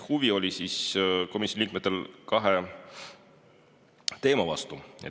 Huvi oli komisjoni liikmetel kahe teema vastu.